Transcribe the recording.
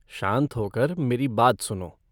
शांत होकर मेरी बात सुनो।